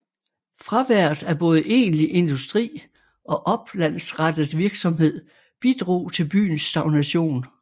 Fraværet af både egentlig industri og oplandsrettet virksomhed bidrog til byens stagnation